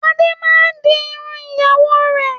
Adé máa ń di irun ìyàwó rẹ̀.